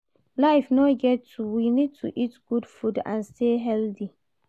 Life no get two, we need to eat good food and stay healthy